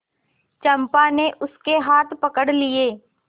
चंपा ने उसके हाथ पकड़ लिए